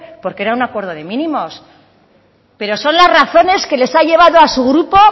porque era un acuerdo de mínimos pero son las razones que les ha llevado a su grupo